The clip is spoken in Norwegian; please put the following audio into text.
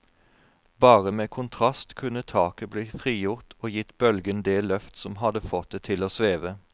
Bare med kontrast kunne taket bli frigjort og gitt bølgen det løft som hadde fått det til å sveve.